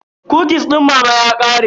Kukis din mama ya ƙare.